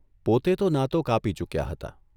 પોતે તો નાતો કાપી ચૂક્યા હતા